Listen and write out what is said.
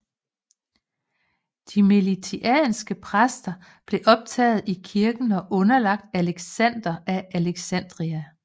De melitianske præster blev optaget i kirken og underlagt Alexander af Alexandria